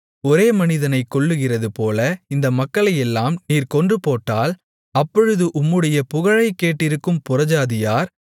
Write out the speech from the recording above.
ஒரே மனிதனைக் கொல்லுகிறது போல இந்த மக்களையெல்லாம் நீர் கொன்று போட்டால் அப்பொழுது உம்முடைய புகழைக் கேட்டிருக்கும் புறஜாதியார்